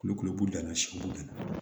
Kulukulu b'u dan na sibo ka na